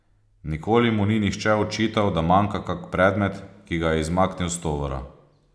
Nikoli mu ni nihče očital, da manjka kak predmet, ki ga je izmaknil s tovora.